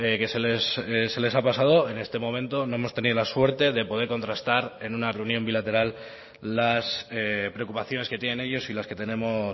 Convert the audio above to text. que se les ha pasado en este momento no hemos tenido la suerte de poder contrastar en una reunión bilateral las preocupaciones que tienen ellos y las que tenemos